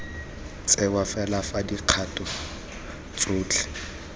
tsewa fela fa dikgato tsotlhe